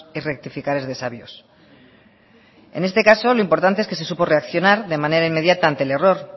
y rectificar es de sabios en este caso lo importante es que se supo reaccionar de manera inmediata ante el error